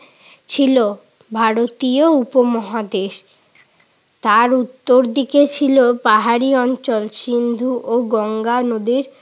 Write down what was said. ছিল ভারতীয় উপমহাদেশ। তার উত্তর দিকে ছিল পাহাড়ি অঞ্চল, সিন্ধু ও গঙ্গা নদীর